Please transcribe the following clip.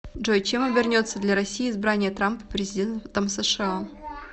джой чем обернется для россии избрание трампа президентом сша